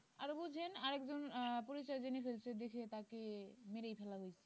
আর বুঝেন আর একজন আহ পরিচয় জেনে ফেলছে দেখে তাকে মেরেই ফেলা হয়েছে